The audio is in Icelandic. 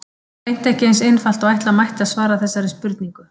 Það er hreint ekki eins einfalt og ætla mætti að svara þessari spurningu.